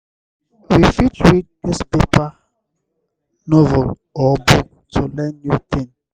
we fit read newspaper novel or book to learn new thing